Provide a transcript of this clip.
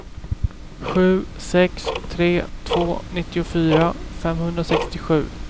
sju sex tre två nittiofyra femhundrasextiosju